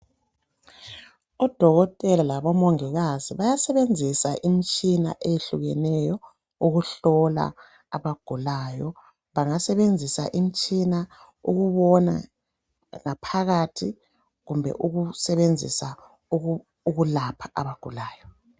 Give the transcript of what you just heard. Odokotela labomongikazi bayasebenzisa imitshina eyehlukeneyo ukuhlola abagulayo. Bangasebenzisa imitshina ukubona ngaphakathi kumbe ukusebenzisa ukulapha abagulayo.